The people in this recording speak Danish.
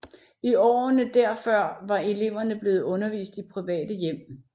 I årene derfør var eleverne blevet undervist i private hjem